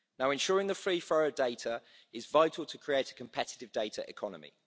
Ensuring the free flow of data is vital to create a competitive data economy.